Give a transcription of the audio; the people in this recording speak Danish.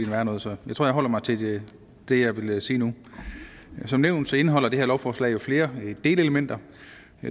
værre noget så jeg tror jeg holder mig til det jeg vil sige nu som nævnt indeholder det her lovforslag flere delelementer